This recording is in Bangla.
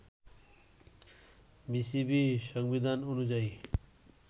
বিসিবি সংবিধান অনুযায়ী